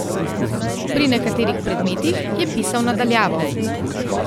Pri nekaterih predmetih je pisal na daljavo.